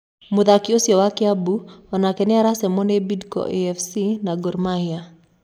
mũthaki ũcio wa Kiambu onake nĩ aracemwo nĩ Bidco afc na Gor Mahia.